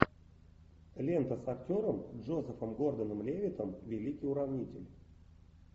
лента с актером джозефом гордоном левиттом великий уравнитель